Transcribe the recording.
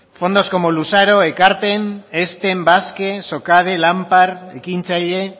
fondos como luzaro ekarpen ezten basque socade lanpar ekintzaile